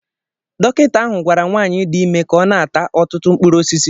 Dọkịta ahụ gwara nwanyị dị ime ka ọ na-ata ọtụtụ mkpụrụ osisi